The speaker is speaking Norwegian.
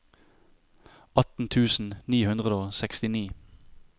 atten tusen ni hundre og sekstini